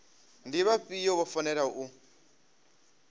ndi vhafhio vho fanelaho u